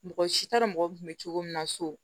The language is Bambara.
Mɔgɔ si t'a dɔn mɔgɔ kun bɛ cogo min na so